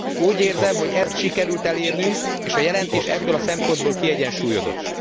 Úgy érzem, hogy ezt sikerült elérnünk, és a jelentés ebből a szempontból kiegyensúlyozott.